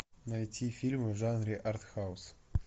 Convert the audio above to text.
найти фильмы в жанре артхаус